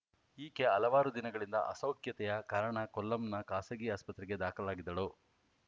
ಈಕೆ ಹಲವಾರು ದಿನಗಳಿಂದ ಅಸೌಖ್ಯತೆಯ ಕಾರಣ ಕೊಲ್ಲಂನ ಖಾಸಗಿ ಆಸ್ಪತ್ರೆಗೆ ದಾಖಲಾಗಿದ್ದಳು